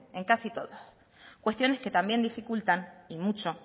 en casi todos cuestiones que también dificultan y mucho